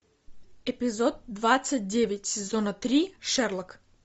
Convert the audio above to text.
эпизод двадцать девять сезона три шерлок